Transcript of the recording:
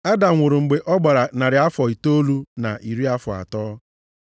Adam nwụrụ mgbe ọ gbara narị afọ itoolu na iri afọ atọ.